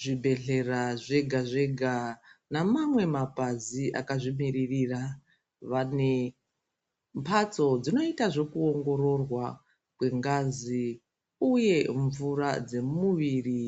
Zvibhedhlera zvega-zvega, namamwe mapazi akazvimiririra, vane mphatso dzinoita zvokuongororwa kwengazi, uye mvura dzemuviri,